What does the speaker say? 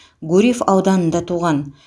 гурьев ауданында туған